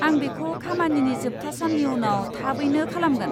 आं बेखौ खामानिनि जोबथा साननि उनाव थाबैनो खालामगोन।